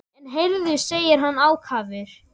En heyrðu, segir hann ákafur.